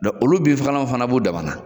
Dɔn olu binfagalanw fana b'u damanan